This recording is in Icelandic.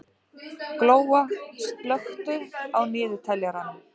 Glóa, slökktu á niðurteljaranum.